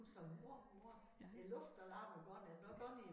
Hun skrev mor mor æ luftalarm er gået er den også gået i